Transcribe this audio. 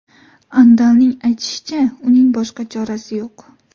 Andalning aytishicha, uning boshqa chorasi yo‘q.